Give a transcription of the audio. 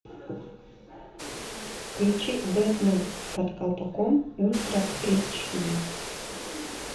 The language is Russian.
включи бетман под колпаком ультра эйч ди